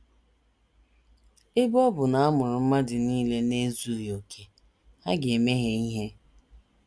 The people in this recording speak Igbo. Ebe ọ bụ na a mụrụ mmadụ nile n’ezughị okè, ha ga - emehie ihe.